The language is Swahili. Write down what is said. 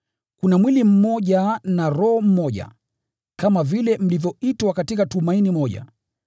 Kuna mwili mmoja na Roho mmoja, kama vile mlivyoitwa katika tumaini moja.